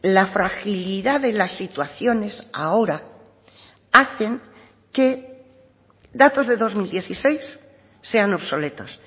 la fragilidad de las situaciones ahora hacen que datos de dos mil dieciséis sean obsoletos